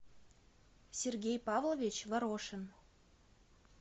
сергей павлович ворошин